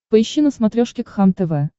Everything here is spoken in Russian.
поищи на смотрешке кхлм тв